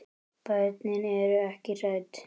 Börnin eru ekki hrædd.